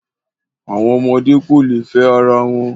Àwọn ọmọdé kò lè fẹ́ ara wọn.